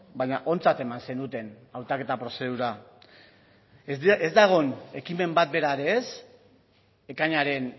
baina ontzat eman zenuten hautaketa prozedura ez da egon ekimen bat bera ere ez ekainaren